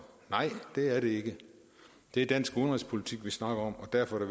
nej det er det ikke det er dansk udenrigspolitik vi snakker om og derfor er